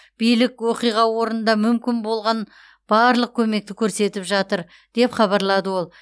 билік оқиға орнында мүмкін болған барлық көмекті көрсетіп жатыр деп хабарлады ол